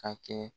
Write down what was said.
Ka kɛ